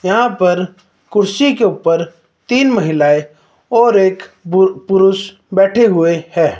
यहां पर कुर्सी के ऊपर तीन महिलाएं और एक पुरुष बैठे हुए है।